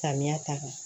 Samiya ta kan